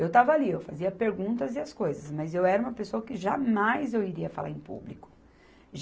Eu estava ali, eu fazia perguntas e as coisas, mas eu era uma pessoa que jamais eu iria falar em público.